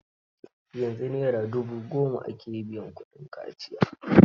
Yanzu Naira dubu goma ake biya kudin kaciya.